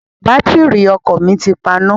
Bátìrì ọkọ̀ mi ti paná.